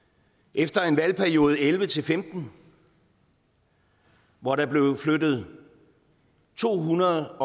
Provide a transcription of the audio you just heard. efter en valgperiode elleve til femten hvor der blev flyttet to hundrede